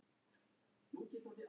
Hélt ró sinni sem fyrr.